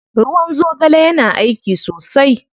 Ruwan zogale yana aiki sosai.